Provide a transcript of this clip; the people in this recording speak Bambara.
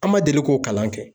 An ma deli k'o kalan kɛ.